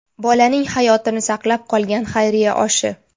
Bolaning hayotini saqlab qolgan xayriya oshi.